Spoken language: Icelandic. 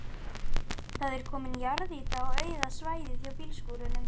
Það er komin jarðýta á auða svæðið hjá bílskúrunum.